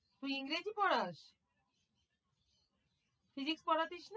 তুই ইংরেজি পড়াস? physics পড়াতিস?